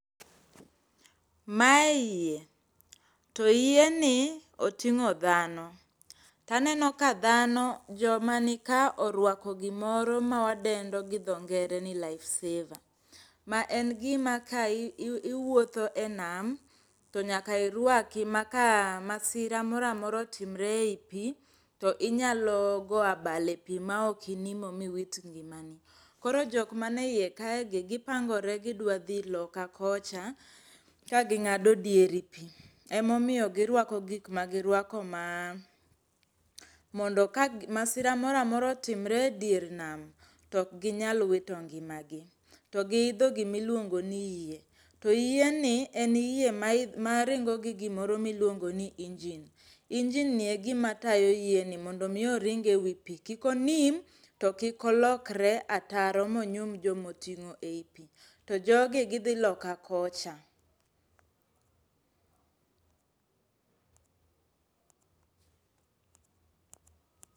Mae yie to yie ni oting'o dhano taneno ka dhano joma nika orwako gimoro ma wadendo gi dho ngere ni life saver ma en gima ka i iwuotho enam to nyaka irwaki maka masira moramora otimre eii pii to inyalo goya bal epii ma ok inimo miwit ngimani .Koro jokma nie iye kae gi gipangore gidwadhi loka kocha ka ging'ado dier pii. Emomiyo girwako gik ma girwako ma mondo ka masira moramora otimre e dier nama tok ginyal wito ngimagi to giidho gimiluongo ni yie to yien ni en yie ma ringo gi gimoro miluongo ni injin, injin ni egima tayo yieni mondo mi oring ewi pii kik onim to kik olokre ataro monyum jomo ting'o e pii to jogi gidhi loka kocha